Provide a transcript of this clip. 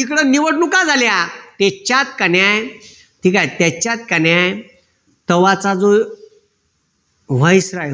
इकडं निवडणूक झाल्या त्याच्यात का नाय ठीक आहे त्याच्यात का नाय तव्हाच जो